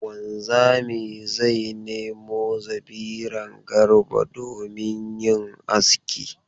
Wanzami zai nemo zabiran Garba domin yin aski.